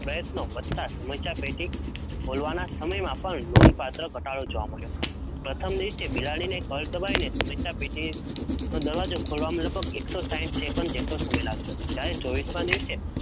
પ્રયત્નો, વધતાં સમસ્યા પેટી ખોલવાના સમય માં પણ લોન પાત્ર ધટાડો જોવાં મળ્યો, પ્રથમ દિવસે બિલાડી ને પગ દબાવી સમસ્યા પેટી,